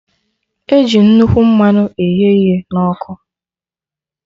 Eji nnukwu mmanụ eghe ihe na ọkụ